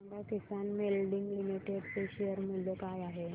सांगा Kisan moulding limited चे share मूल्य काय आहे